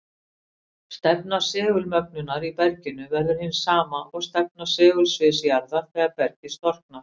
Stefna segulmögnunar í berginu verður hin sama og stefna segulsviðs jarðar þegar bergið storknar.